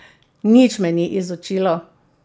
Nič me ni izučilo.